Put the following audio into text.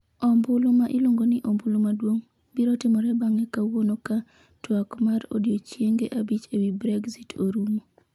ombulu ma iluongo ni “ombulu maduong’” biro timore bang’e kawuono ka twak mar odiechienge abich e wi Brexit orumo.